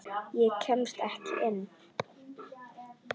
Ég kemst ekki inn.